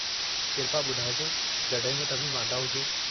किरपा ॿुधाइजो, जड॒हिं बि तव्हीं वांदा हुजो।